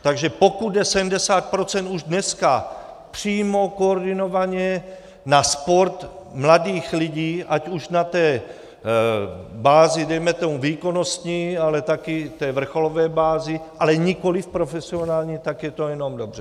Takže pokud jde 70 % už dneska přímo koordinovaně na sport mladých lidí, ať už na té bázi dejme tomu výkonnostní, ale taky té vrcholové bázi, ale nikoli profesionální, tak je to jenom dobře.